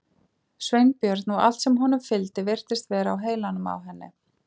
Sveinbjörn og allt sem honum fylgdi virtist vera á heilanum á henni.